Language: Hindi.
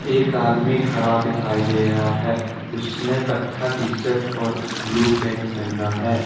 एक आदमी खड़ा दिखाई दे रहा है उसने कत्था टीशर्ट और ब्ल्यू पैंट पहना है।